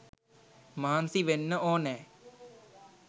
මහන්සි වෙන්න ඕනැ.